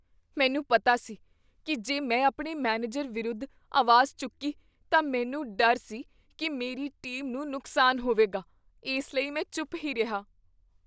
ਮੈਨੂੰ ਪਤਾ ਸੀ ਕੀ ਜੇ ਮੈਂ ਆਪਣੇ ਮੈਨੇਜਰ ਵਿਰੁੱਧ ਆਵਾਜ਼ ਚੁੱਕੀ ਤਾਂ ਮੈਨੂੰ ਡਰ ਸੀ ਕੀ ਮੇਰੀ ਟੀਮ ਨੂੰ ਨੁਕਸਾਨ ਹੋਵੇਗਾ, ਇਸ ਲਈ ਮੈਂ ਚੁੱਪ ਹੀ ਰਿਹਾ।